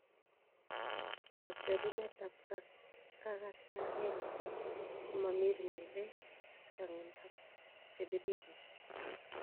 Kocherunetab kakatanet komomirmire chong'indab chebiriren.